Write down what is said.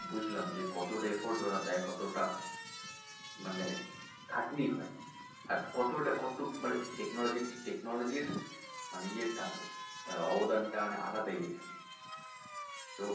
বুঝলাম যে কতোটা efforts ওরা দেয় যে কতোটা মানে খাটনি হয় আর কতোটা মানে কতো technology র technology র মানে ইয়ে টা মানে অবদান টা মানে আলাদাই তো,